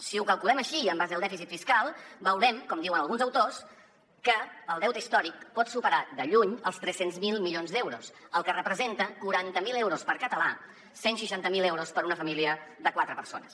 si ho calculem així en base al dèficit fiscal veurem com diuen alguns autors que el deute històric pot superar de lluny els tres cents miler milions d’euros que representa quaranta miler euros per català cent i seixanta miler euros per a una família de quatre persones